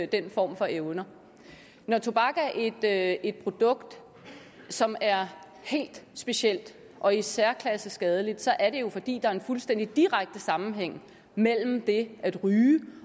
den form for evner når tobak er et produkt som er helt specielt og i særklasse skadeligt så er det jo fordi der er en fuldstændig direkte sammenhæng mellem det at ryge